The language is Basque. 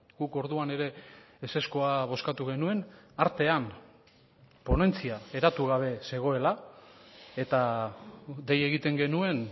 guk orduan ere ezezkoa bozkatu genuen artean ponentzia eratu gabe zegoela eta dei egiten genuen